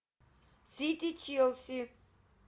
сити челси